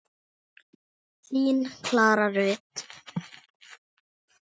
Þín Klara Rut.